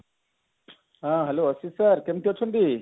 ହଁ hello sir କେମତି ଅଛନ୍ତି